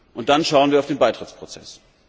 Und dann schauen wir auf den Beitrittsprozess.